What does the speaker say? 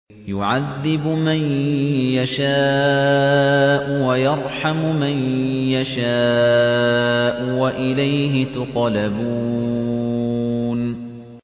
يُعَذِّبُ مَن يَشَاءُ وَيَرْحَمُ مَن يَشَاءُ ۖ وَإِلَيْهِ تُقْلَبُونَ